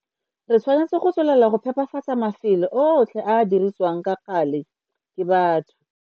Re tshwanetse go tswelela go phepafatsa mafelo otlhe a a dirisiwang ka gale ke batho.